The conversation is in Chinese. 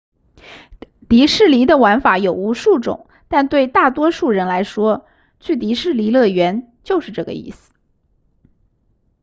迪士尼的玩法有无数种但对大多数人来说去迪士尼乐园就是这个意思